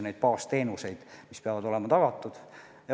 Näiteks baasteenused peavad olema tagatud.